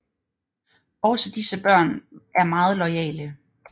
Også disse børn er meget loyale